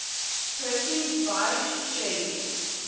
percy bysshe shelley